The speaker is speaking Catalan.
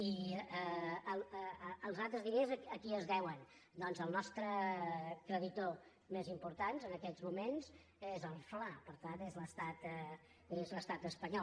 i els altres diners a qui es deuen doncs el nostre creditor més important en aquests moments és el fla per tant és l’estat espanyol